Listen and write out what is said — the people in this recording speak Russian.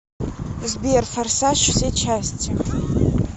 сбер форсаж все части